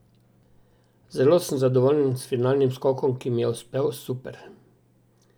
Zelo sem zadovoljen s finalnim skokom, ki mi je uspel super.